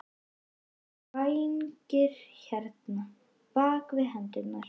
Og þá voru vængir hérna, bak við hendurnar.